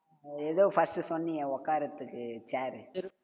எதோ, first உ சொன்னியே உட்கார்றதுக்கு chair உ